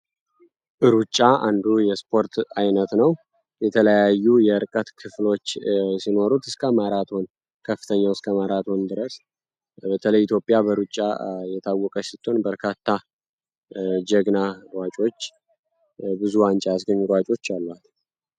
ሩጫ አንዱ የስፖርት ዓይነት ነው የተለያዩ የርቀት ክፍሎች ሲኖሩ እስከ ከፍተኛ ድረስ የኢትዮጵያ የታወቀ ስትሆን በርካታ ጀግና ሯጮች ብዙ ዋንጫዎች አሉ